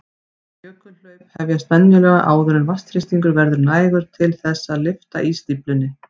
Jökulhlaup hefjast venjulega áður en vatnsþrýstingur verður nægur til þess að lyfta ísstíflunni.